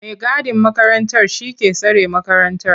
mai gadin makarantar shi ke tsare makarantar.